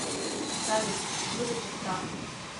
салют выдайте справку